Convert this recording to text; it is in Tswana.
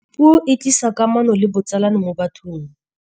Puo e tlisa kamano le botsalano mo bathong.